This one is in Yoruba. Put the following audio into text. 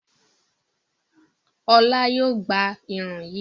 Ọlá yóò gbá irun yìí.